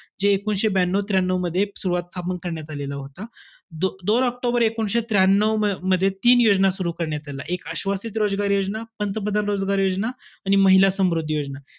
जे एकोणविशे ब्यानऊ त्र्यानऊ मध्ये सुरवात~ स्थापन करण्यात आलेला होता. दो~ दोन ऑक्टोबर एकोणविशे त्र्यानऊ मध्ये, तीन योजना सुरु करण्यात आल्या. एक आश्वासित रोजगार योजना, पंतप्रधान रोजगार योजना आणि महिला समृद्धी योजना.